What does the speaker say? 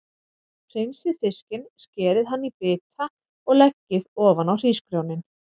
Hreinsið fiskinn, skerið hann í bita og leggið ofan á hrísgrjónin.